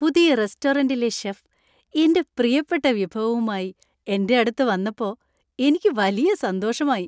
പുതിയ റെസ്റ്റോറന്‍റിലെ ഷെഫ് എന്‍റെ പ്രിയപ്പെട്ട വിഭവവുമായി എന്‍റെ അടുത്ത് വന്നപ്പോഎനിക്ക് വലിയ സന്തോഷമായി